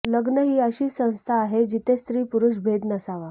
लग्न ही अशी संस्था आहे जिथे स्त्री पुरुष भेद नसावा